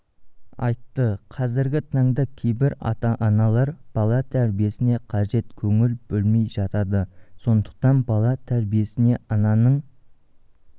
айтты қазіргі таңда кейбір ата-аналар бала тәрбиесіне қажет көңіл бөлмей жатады сондықтан бала тәрбиесінде ананың